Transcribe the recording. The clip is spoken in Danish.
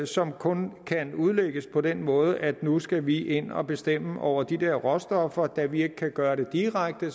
som kun kan udlægges på den måde at nu skal vi ind og bestemme over de der råstoffer og da vi ikke kan gøre det direkte